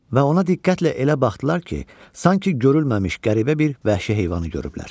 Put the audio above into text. Və ona diqqətlə elə baxdılar ki, sanki görünməmiş qəribə bir vəhşi heyvanı görüblər.